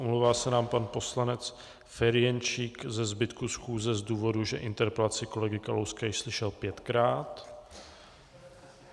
Omlouvá se nám pan poslanec Ferjenčík ze zbytku schůze z důvodu, že interpelaci kolegy Kalouska již slyšel pětkrát.